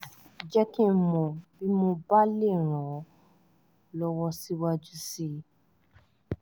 jẹ́ kí n mọ̀ bí mo bá lè ràn ràn ọ́ lọ́wọ́ síwájú sí i